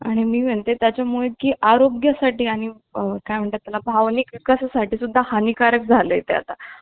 आणि मी म्हणते त्यामुळे आरोग्या साठी आणि काय म्हणतात याला भावनिक असं साठी सुद्धा हानिकारक झाले ते आता.